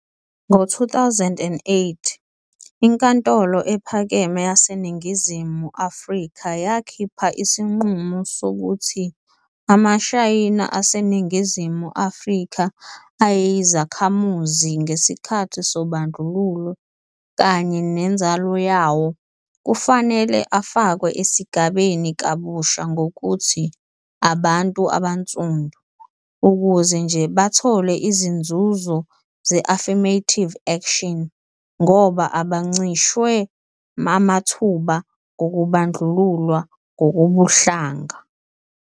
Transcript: Ngo-2008, iNkantolo Ephakeme yaseNingizimu Afrika yakhipha isinqumo sokuthi amaShayina aseNingizimu Afrika ayeyizakhamuzi ngesikhathi sobandlululo, kanye nenzalo yawo, kufanele afakwe esigabeni kabusha ngokuthi "abantu abaNsundu," ukuze nje bathole izinzuzo ze-affirmative action, ngoba "abancishwe amathuba" ngokubandlululwa ngokobuhlanga.